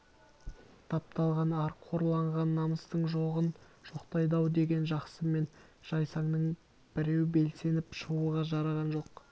тапталған ар қорланған намыстың жоғын жоқтайды-ау деген жақсы мен жайсаңның біреу белсеніп шығуға жараған жоқ